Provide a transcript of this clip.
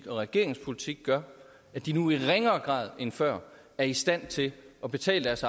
og regeringens politik gør at de nu i ringere grad end før er i stand til at betale deres